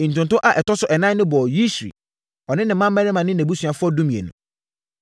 Ntonto a ɛtɔ so ɛnan no bɔɔ Yisri, ɔne ne mmammarima ne nʼabusuafoɔ (12)